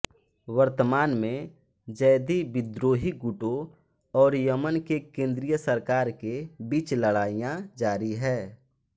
वर्तमान में ज़ैदी विद्रोही गुटों और यमन के केन्द्रीय सरकार के बीच लड़ाईयाँ जारी हैं